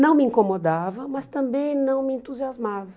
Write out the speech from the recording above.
Não me incomodava, mas também não me entusiasmava.